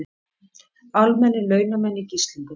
Almennir launamenn í gíslingu